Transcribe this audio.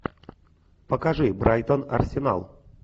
покажи брайтон арсенал